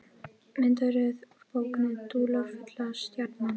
Myndaröð úr bókinni Dularfulla stjarnan.